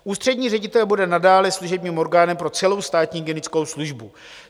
Ústřední ředitel bude nadále služebním orgánem pro celou Státní hygienickou službu.